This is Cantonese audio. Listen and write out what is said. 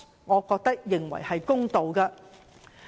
我覺得這樣做才公道。